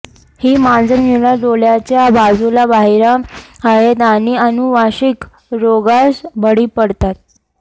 ही मांजरे निळा डोळ्याच्या बाजूला बहिरा आहेत आणि अनुवांशिक रोगास बळी पडतात